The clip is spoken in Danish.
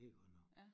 Det er godt nok